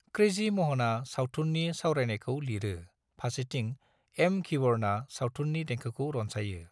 Crazy महना सावथुननि सावरायनायखौ लिरो फारसेथिं एम. घिबरना सावथुननि देंखोखौ रनसायो ।